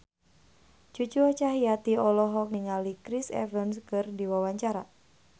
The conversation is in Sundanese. Cucu Cahyati olohok ningali Chris Evans keur diwawancara